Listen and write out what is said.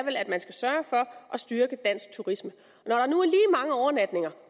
at man skal sørge for at styrke dansk turisme